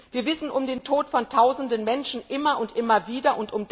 Wir wissen um den Tod von Tausenden Menschen immer und immer wieder.